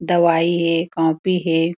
दवाई हे कॉपी हे।